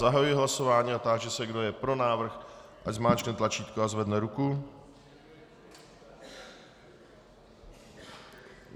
Zahajuji hlasování a táži se, kdo je pro návrh, ať zmáčkne tlačítko a zvedne ruku.